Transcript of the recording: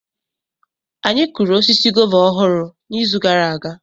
Anyị kụrụ osisi guava ọhụrụ n'izu gara aga.